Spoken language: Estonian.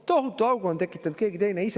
Tohutu augu on tekitanud keegi teine!